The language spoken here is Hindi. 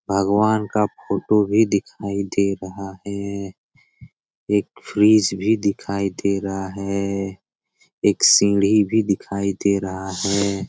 भगवान का फोटो भी दिखाई दे रहा है। एक फ्रिज भी दिखाई दे रहा है। एक सीढ़ी भी दिखाई दे रहा है।